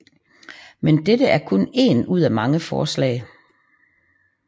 Men dette er kun en ud af mange forslag